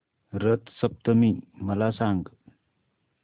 रथ सप्तमी मला सांग